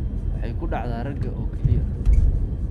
Waxay ku dhacdaa ragga oo keliya.